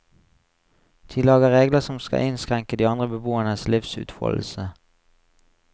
De lager regler som skal innskrenke de andre beboernes livsutfoldelse.